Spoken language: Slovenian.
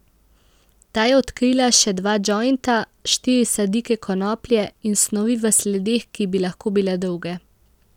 Ta je odkrila še dva džojnta, štiri sadike konoplje in snovi v sledeh, ki bi lahko bile droge.